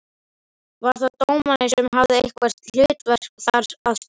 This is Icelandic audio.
Var það dómarinn sem hafði eitthvað hlutverk þar að spila?